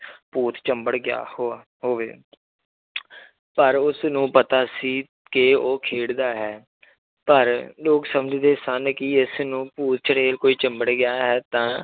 ਭੂਤ ਚਿੰਬੜ ਗਿਆ ਹੋਆ ਹੋਵੇ ਪਰ ਉਸਨੂੰ ਪਤਾ ਸੀ ਕਿ ਉਹ ਖੇਡਦਾ ਹੈ ਪਰ ਲੋਕ ਸਮਝਦੇ ਸਨ ਕਿ ਇਸਨੂੰ ਭੂਤ ਚੁੜੇਲ ਕੋਈ ਚਿੰਬੜ ਗਿਆ ਹੈ ਤਾਂ